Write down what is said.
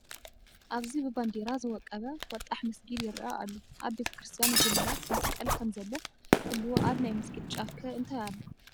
ኣብዚ ብባንዲራ ዝወቀበ ወጣሕ መስጊድ ይርአ ኣሎ፡፡ ኣብ ቤተ ክርስቲያን ጉልላት መስቀል ከምዘሎ ኩሉ ኣብ ናይ መስጊድ ጫፍ ከ እንታይ ኣሎ?